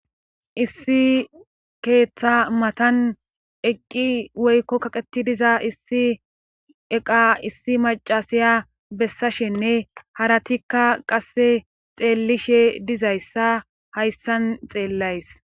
Issi keeththa matan eqqi woykko kaqeti diza issi eqa issi macasaya bessashenne haratikka qasse xeellishe dizayssa hayssan xeellays.